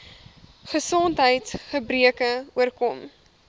gesondheids gebreke oorkom